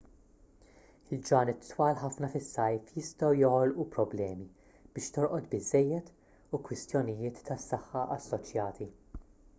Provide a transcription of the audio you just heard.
il-ġranet twal ħafna fis-sajf jistgħu joħolqu problemi biex torqod biżżejjed u kwistjonijiet tas-saħħa assoċjati